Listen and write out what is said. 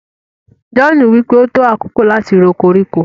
john wípé o tó àkókò lati rò koríko.